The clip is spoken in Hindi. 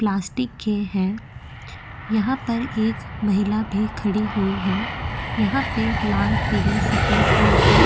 प्लास्टिक के है यहाँ पर एक महिला भी खड़ी हुई है यहाँ पे लाल पीले सफ़ेद रंग के --